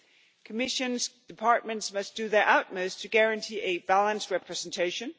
The Commission's departments must do their utmost to guarantee a balanced representation.